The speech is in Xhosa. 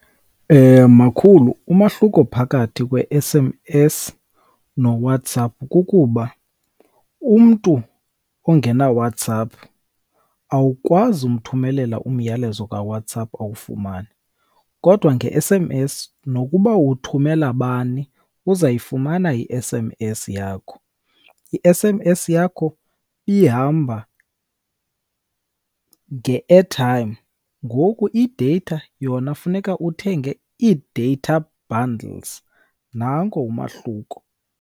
Makhulu, umahluko phakathi kwe-S_M_S noWhatsApp kukuba umntu ongenaWhatsApp awukwazi umthumelela umyalezo kaWhatsApp awufumane, kodwa nge-S_M_S nokuba uthumela bani uzawuyifumana i-S_M_S yakho. I-S_M_S yakho ihamba nge-airtime, ngoku i-data yona funeka uthenge i-data bundles. Nanko umahluko.